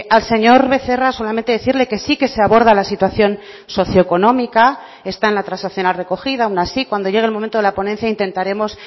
al señor becerra solamente decirle que sí que se aborda la situación socioeconómica está en la transaccional recogida aun así cuando llegue el momento de la ponencia intentaremos